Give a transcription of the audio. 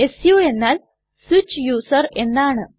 സു എന്നാൽ switch user എന്നാണ്